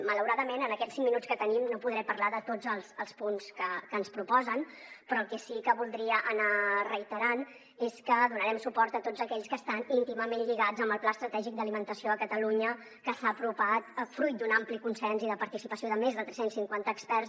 malauradament en aquests cinc minuts que tenim no podré parlar de tots els punts que ens proposen però el que sí que voldria anar reiterant és que donarem suport a tots aquells que estan íntimament lligats amb el pla estratègic d’alimentació a catalunya que s’ha aprovat fruit d’un ampli consens i la participació de més de tres cents i cinquanta experts